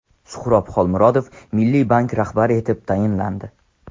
Suhrob Xolmurodov Milliy bank rahbari etib tayinlandi .